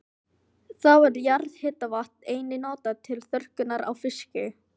Þá er jarðhitavatn einnig notað til þurrkunar á fiski.